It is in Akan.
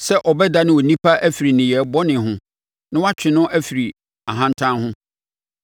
sɛ ɔbɛdane onipa afiri nneyɛɛ bɔne ho na watwe no afiri ahantan ho,